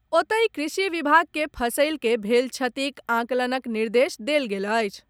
ओतहि कृषि विभाग के फसलि के भेल क्षतिक आकलनक निर्देश देल गेल अछि।